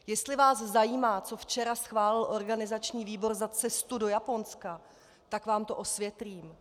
Jestli vás zajímá, co včera schválil organizační výbor za cestu do Japonska, tak vám to osvětlím.